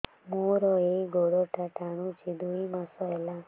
ମୋର ଏଇ ଗୋଡ଼ଟା ଟାଣୁଛି ଦୁଇ ମାସ ହେଲା